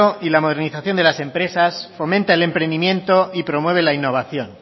y la modernización de las empresas fomenta el emprendimiento y promueve la innovación